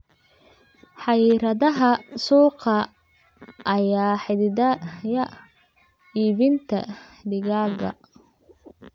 Xayiraadaha suuqa ayaa xaddidaya iibinta digaagga.